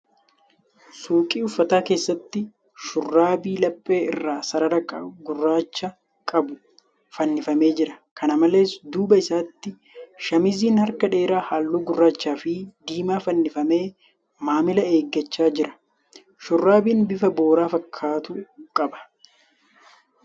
Suuqii uffata keessatti shurraabii laphee irraa sarara gurraacha qabu fannifamee jira. Kana malees, duuba isaatti shaamiziin harka dheeraa halluu gurraachaa fi diimaa fannifamee maamila eeggachaa jira. Shurraabiin bifa boora fakkaatu qaba.